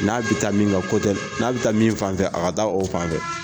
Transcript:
N'a bɛ taa min ka n'a bɛ taa min fan fɛ a ka da o fan tɛ.